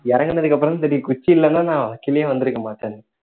இறங்குனதுக்கு அப்பறம் தான் தெரியும் குச்சி இல்லன்னா நான் கீழயே வந்துருக்க மாட்டேன்னு